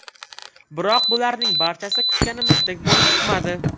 Biroq bularning barchasi kutganimizdek bo‘lib chiqmadi.